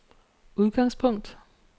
udgangspunkt